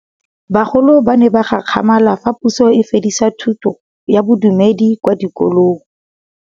Bagolo ba ne ba gakgamala fa Pusô e fedisa thutô ya Bodumedi kwa dikolong.